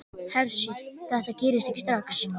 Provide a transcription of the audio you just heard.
Hersir: Þetta gerist ekki strax?